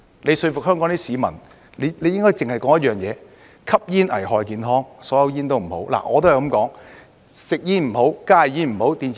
要說服香港市民，應該只說一點：吸煙危害健康，所有香煙都不好。